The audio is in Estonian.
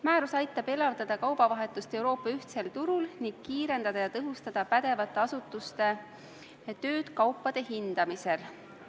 Määrus aitab elavdada kaubavahetust Euroopa ühtsel turul ning kiirendada ja tõhustada pädevate asutuste tööd kaupade hindamisel.